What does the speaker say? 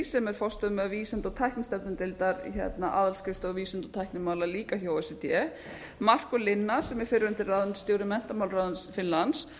sem er forstöðumaður vísinda og tæknideildar aðalskrifstofu vísinda og tæknimála líka hjá o e c d markað linna sem er fyrrverandi ráðuneytisstjóri menntamálaráðuneytis finnlands